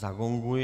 Zagonguji.